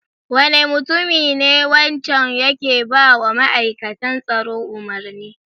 Wane mutumi ne wancan yake ba wa ma'aikatan tsaro umarni?